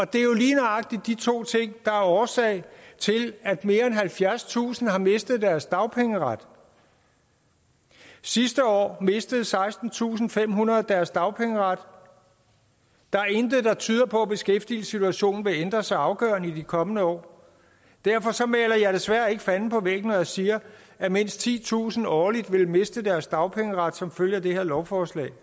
det er jo lige nøjagtig de to ting der er årsag til at mere end halvfjerdstusind har mistet deres dagpengeret sidste år mistede sekstentusinde og femhundrede deres dagpengeret der er intet der tyder på at beskæftigelsessituationen vil ændre sig afgørende i de kommende år derfor maler jeg desværre ikke fanden på væggen når jeg siger at mindst titusind årligt vil miste deres dagpengeret som følge af det her lovforslag